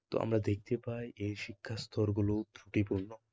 তা আমরা দেখতে পাই এই শিক্ষাস্তরগুলো